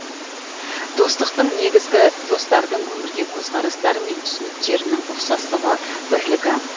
достықтың негізгі достардың өмірге көзқарастары мен түсініктерінің ұқсастығы бірлігі